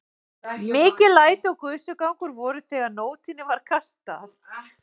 Mikil læti og gusugangur voru þegar nótinni var kastað.